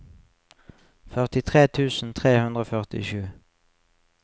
førtitre tusen tre hundre og førtisju